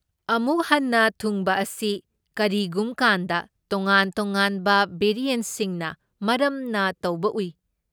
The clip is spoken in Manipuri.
ꯑꯃꯨꯛ ꯍꯟꯅ ꯊꯨꯡꯕ ꯑꯁꯤ ꯀꯔꯤꯒꯨꯝ ꯀꯥꯟꯗ ꯇꯣꯉꯥꯟ ꯇꯣꯉꯥꯟꯕ ꯚꯦꯔꯤꯑꯦꯟꯠꯁꯤꯡꯅ ꯃꯔꯝꯅ ꯇꯧꯕ ꯎꯏ꯫